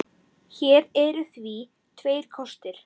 Hér eru því tveir kostir